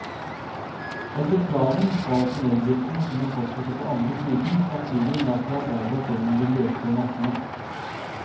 Etter planen skal tunneldriften kunne fortsette på andre siden, samtidig med at vi arbeider oss gjennom de løse massene.